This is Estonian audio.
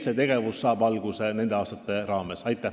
" See tegevus saab alguse nende aastate jooksul.